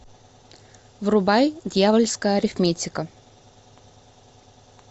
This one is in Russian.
врубай дьявольская арифметика